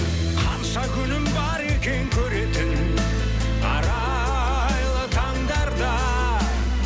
қанша күнім бар екен көретін арайлы таңдарда